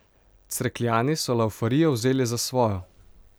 Cerkljani so laufarijo vzeli za svojo.